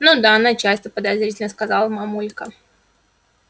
ну да начальство подозрительно сказала мамулька